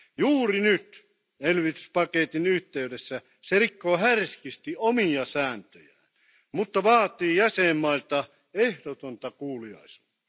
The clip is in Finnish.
Juuri nyt elvytyspaketin yhteydessä se rikkoo härskisti omia sääntöjään, mutta vaatii jäsenmailta ehdotonta kuuliaisuutta.